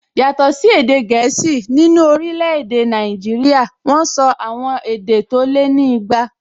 Yàtọ̀ sí èdè gẹ̀ẹ́sì, nínú orílẹ̀-èdè Nàìjíríyà wọ́n sọ àwọn èdè tó lé ní igba